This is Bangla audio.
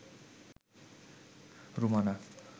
রুমানা